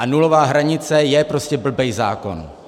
A nulová hranice je prostě blbej zákon!